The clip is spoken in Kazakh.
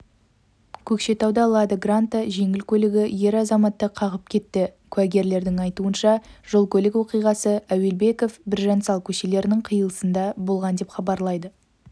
көкшетауда лада гранта жеңіл көлігі ер азаматты қағып кетті куәгерлердің айтуынша жол-көлік оқиғасы әуелбеков-біржан сал көшелерінің қилысында болған деп хабарлайды